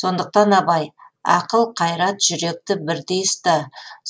сондықтан абай ақыл қайрат жүректі бірдей ұста